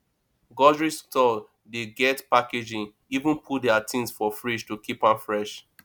grocery store dey get packaging even put their things for fridge to keep am fresh